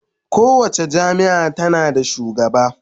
Kowace jami'a tana da shugaba